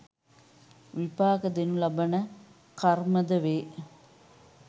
විපාක දෙනු ලබන කර්ම ද වේ.